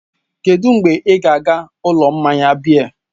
Kedụ mgbe ị ga-aga ụlọ mmanya biya?